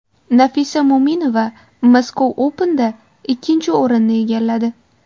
Nafisa Mo‘minova Moscow Open’da ikkinchi o‘rinni egalladi.